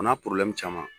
O n'a caman